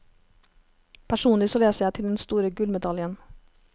Personlig så leser jeg til den store gullmedaljen.